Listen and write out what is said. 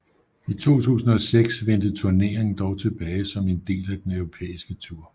I 2006 vendte turneringen dog tilbage som en del af den Europæiske tur